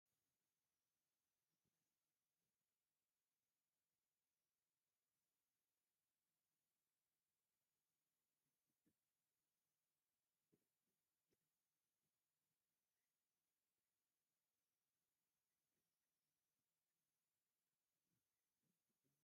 ኣብ ፕላስቲክ መትሓዚ ኮፍ ኢሎም ቀይሕ ከንፈር ላየር ዝመስሉ ናይ ከንፈር መመላክዒ ዘርኢ እዩ። እቲ ሓደ ኣብ ንጹር መሸፈኒ ኮይኑ እቶም ካልኦት ድማ ኩሎም ኣብ መትሓዚ እዮም። እዞም ናይ ከንፈር ቀለም ንምንታይ ከም ዝጥቀሙ ትፈልጡ ዶ?